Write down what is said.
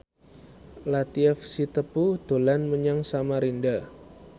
Latief Sitepu dolan menyang Samarinda